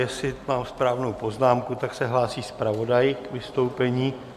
Jestli mám správnou poznámku, tak se hlásí zpravodaj k vystoupení.